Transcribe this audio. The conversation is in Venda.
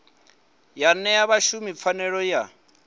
ya ṅea vhashumi pfanelo ya